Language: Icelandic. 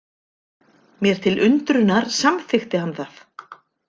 Mér til undrunar samþykkti hann það.